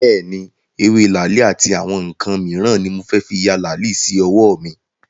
Bẹ́ẹ̀ni, ewé làálì àti àwọn ǹǹkan míràn ni mo fẹ́ fí ya làálì sí ọwọ́ mi